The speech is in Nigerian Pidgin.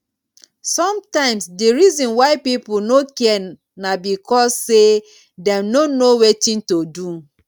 sometimes di reason why pipo no care na because sey dem no know wetin to do